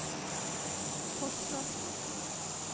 Fosslandsosen